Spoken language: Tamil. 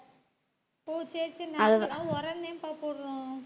ஓ சரி சரி நாங்கெல்லாம் உரம்தான்ப்பா போடுறோம்